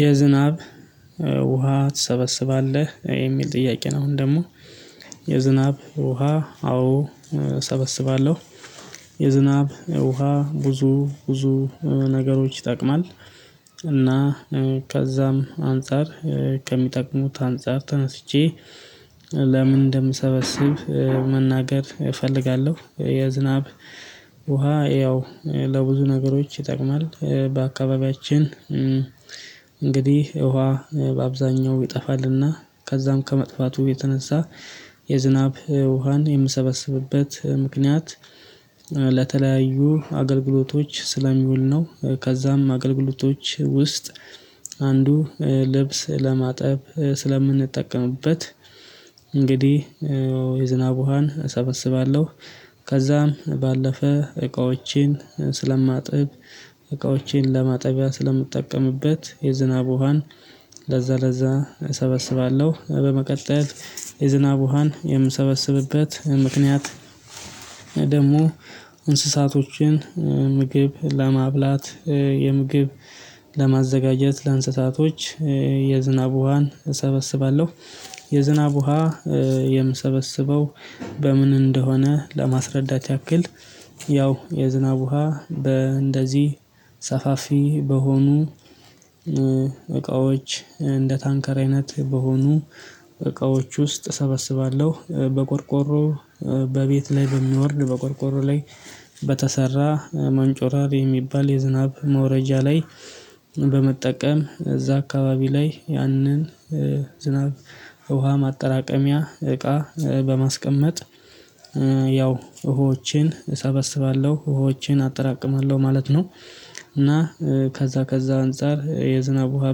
የዝናብ ውሃ ትሰበስባለህ የሚል ጥያቄ ነው። አሁን ደግሞ የዝናብ ውሃ አዎ እሰበስባለሁ የዝናብ ውሃ ብዙ ብዙ ነገሮች ይጠቅማል እና ከዛም አንፃር ከሚጠቅሙት አንፃር ተነስቼ ለምን እንደምሰበስብ መናገር እፈልጋለሁ። የዝናብ ውሃ ያው ለብዙ ነገሮች ይጠቅማል በአካባቢያችን። እንግዲህ ውሃ በአብዛኛው ይጠፋልና ከዛም ከመጥፋቱ የተነሳ የዝናብ ውሃን የምሰበስብበት ምክንያት። ለተለያዩ አገልግሎቶች ስለሚውል ነው ከዛም አገልግሎቶች ውስጥ አንዱ ልብስ ለማጠብ ስለምንጠቀምበት እንግዲህ የዝናብ ውሃን እሰበስባለሁ። ከዛም ባለፈ እቃዎችን ስለማጥብ እቃዎችን ለማጠቢያ ስለምጠቀምበት የዝናብ ውሃን ለዛ ለዛ እሰበስባለሁ። በመቀጠል የዝናብ ውሃን የምሰበስብበት ምክንያት። ደግሞ እንስሳቶችን ምግብ ለማብላት የምግብ ለማዘጋጀት ለእንስሳቶች የዝናብ ውሃን እሰበስባለሁ። የዝናብ ውሃ የምሰበስበው በምን እንደሆነ ለማስረዳት ያክል። ያው የዝናብ ውሃ በእንደዚህ ሰፋፊ በሆኑ እቃዎች እንደ ታንከር አይነት በሆኑ እቃዎች ውስጥ እሰበስባለሁ። በቆርቆሮ በቤት ላይ በሚወርድ በቆርቆሮ ላይ በተሰራ መንጮራሪ የሚባል የዝናብ መውረጃ ላይ በመጠቀም እዛ አካባቢ ላይ ያንን ዝናብ ውሃ ማጠራቀሚያ እቃ በማስቀመጥ ያው ውሀወችን እሰበስባለሁ ወሀወችን አጠራቅማለሁ ማለት ነው። እና ከዛ ከዛ አንፃር የዝናብ ውሃ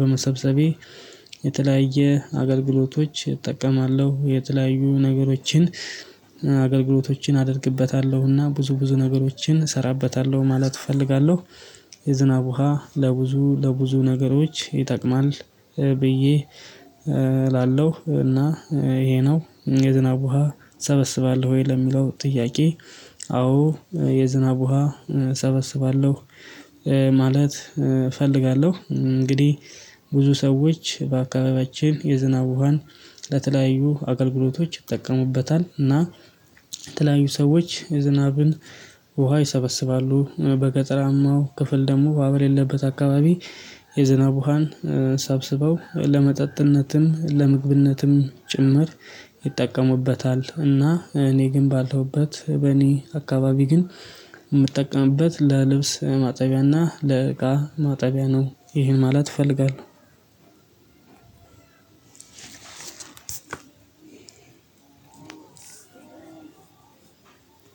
በመሰብሰቤ የተለያየ አገልግሎቶች እጠቀማለሁ የተለያዩ ነገሮችን አገልግሎቶችን አደርግበታለሁና ብዙ ብዙ ነገሮችን እሰራበታለሁ ማለት እፈልጋለሁ። የዝናብ ውሃ ለብዙ ለብዙ ነገሮች ይጠቅማል ብዬ እላለሁ። እና ይሄ ነው የዝናብ ውሃ እሰበስባለሁ ወይ ለሚለው ጥያቄ? አዎ የዝናብ ውሃ ሰበስባለሁ ማለት እፈልጋለሁ። እንግዲህ ብዙ ሰዎች በአካባቢያችን የዝናብ ውሃን ለተለያዩ አገልግሎቶች ይጠቅሙበታል። እና የተለያዩ ሰዎች ዝናብን ውሃ ይሰበስባሉ በገጠራማው ክፍል ደግሞ ወሀ የሌለበት አካባቢ የዝናብ ውሃን ሰብስበው ለመጠጥነትም ለምግብነትም ጭምር ይጠቀሙበታል። እና እኔ ግን ባለሁበት በእኔ አካባቢ ግን የምጠቀምበት ለልብስ ማጠቢያና ለእቃ ማጠቢያ ነው ይሄን ማለት እፈልጋለሁ። አስር